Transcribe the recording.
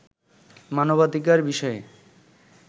মানবাধিকার বিষয়ে